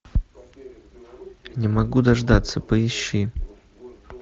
не могу дождаться поищи